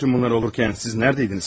Bütün bunlar olarkən siz nədəydiniz bəki?